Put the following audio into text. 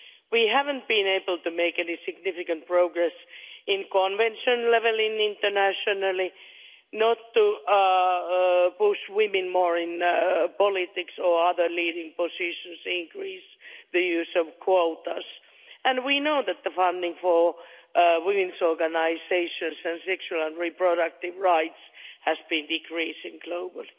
We haven't been able to make any significant progress at convention level internationally, not to push women more in politics or other leading positions increase the use of quotas and we know that the funding for women's organisations for sexual and reproductive rights has been decreasing globally.